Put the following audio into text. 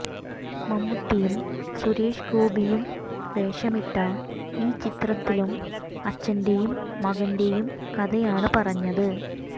മമ്മൂട്ടിയും സുരേഷ് ഗോപിയും വേഷമിട്ട ഈ ചിത്രത്തിലും അച്ഛന്റെയും മകന്റെയും കഥയാണ് പറഞ്ഞത്